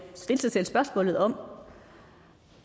stille sig selv spørgsmålet om